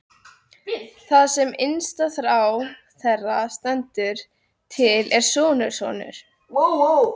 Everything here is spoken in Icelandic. Það sem innsta þrá þeirra stendur til er sonarsonur.